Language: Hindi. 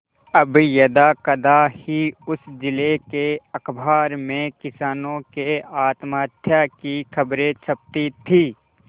अब यदाकदा ही उस जिले के अखबार में किसानों के आत्महत्या की खबरें छपती थी